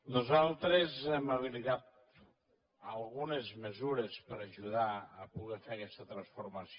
nosaltres hem habilitat algunes mesures per ajudar a poder fer aquesta transformació